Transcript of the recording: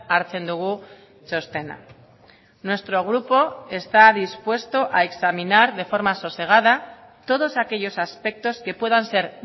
hartzen dugu txostena nuestro grupo está dispuesto a examinar de forma sosegada todos aquellos aspectos que puedan ser